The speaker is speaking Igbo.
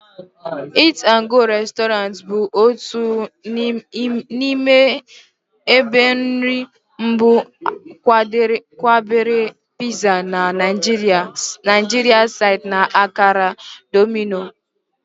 Eat'N'Go Resturant bụ otu n'ime ebe iri nri mbụ kwadebere pizza na Nigeria site na akara Domino.